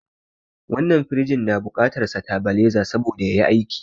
Wannan firiji na bukatan satabaleza saboda yayi aiki